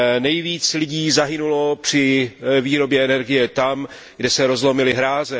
Nejvíce lidí zahynulo při výrobě energie tam, kde se rozlomily hráze.